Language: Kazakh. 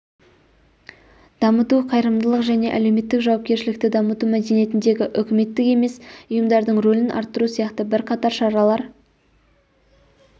дамыту қайырымдылық және әлеуметтік жауапкершілікті дамыту мәдениетіндегі үкіметтік емес ұйымдардың рөлін арттыру сияқты бірқатар шаралар